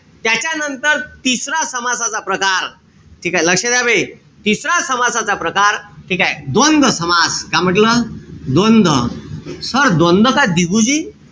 त्याच्यानंतर तिसरा समासाचा प्रकार ठीकेय? लक्ष द्या बे. तिसरा समासाचा प्रकार ठीकेय? द्वंद्व समास. का म्हंटल? द्वंद्व. Sir द्वंद्व का दिगूजी?